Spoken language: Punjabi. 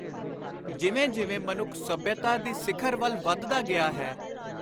ਜਿਵੇਂ ਜਿਵੇਂ ਮਨੁੱਖ ਸੱਭਿਅਤਾ ਦੀ ਸਿਖਰ ਵੱਲ ਵਧਦਾ ਗਿਆ ਹੈ,